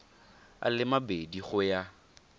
a le mabedi go ya